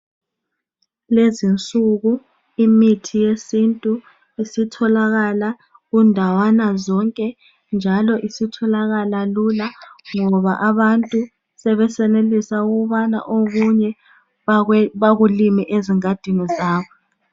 Lezinsuku imithi yesintu isitholakala kundawana zonke, njalo isitholakala lula ngoba abantu sebesenelisa ukubana okunye bakulime ezingadini zabo.